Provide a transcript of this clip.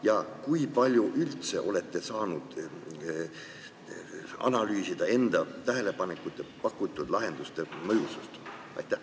Ja kui palju te üldse olete saanud analüüsida enda tähelepanekute ja pakutud lahenduste mõju?